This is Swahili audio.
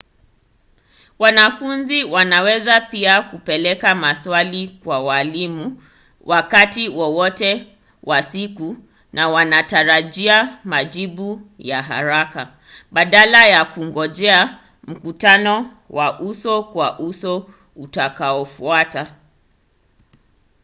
wanafunzi wanaweza pia kupeleka maswali kwa waalimu wakati wowote wa siku na wanatarajia majibu ya haraka badala ya kungojea mkutano wa uso-kwa-uso utakaofuata